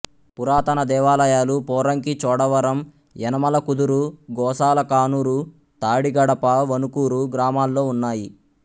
పురాతన దేవాలయాలు పోరంకి చోడవరం యనమలకుదురు గోసాల కానూరు తాడిగడప వణుకూరు గ్రామాల్లో ఉన్నాయి